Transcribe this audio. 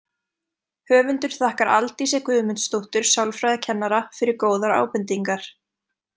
Höfundur þakkar Aldísi Guðmundsdóttur sálfræðikennara fyrir góðar ábendingar.